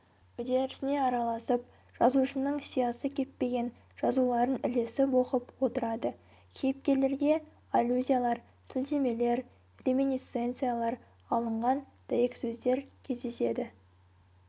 үдерісіне араласып жазушының сиясы кеппеген жазуларын ілесіп оқып отырады кейіпкерлерге аллюзиялар сілтемелер реминисценциялар алынған дәйексөздер кездеседі